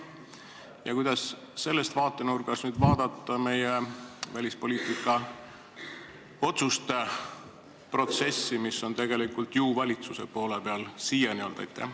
Ja kuidas sellest vaatenurgast vaadata meie välispoliitika otsuste protsessi, mis on siiani ju tegelikult valitsuse poole peal olnud?